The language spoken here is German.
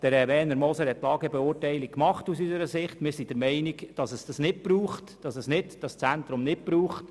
Grossrat Werner Moser hat aus unserer Sicht eine Lagebeurteilung gemacht und wir sind der Meinung, dass es dieses Zentrum nicht braucht.